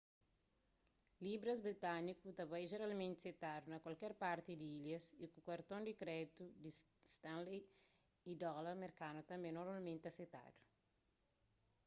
libras britânikus ta bai jeralmenti setadu na kualker parti di ilhas y ku karton di kréditu di stanley y dóla merkanu tanbê normalmenti ta setadu